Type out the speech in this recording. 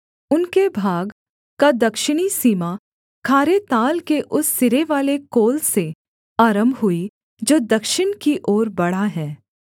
उनके भाग का दक्षिणी सीमा खारे ताल के उस सिरेवाले कोल से आरम्भ हुई जो दक्षिण की ओर बढ़ा है